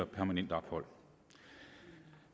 permanent ophold